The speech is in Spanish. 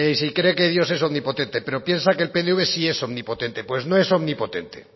si cree que dios es omnipotente pero piensa que el pnv sí es omnipotente pues no es omnipotente